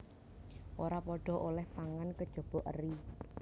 Ora padha olèh pangan kejaba eri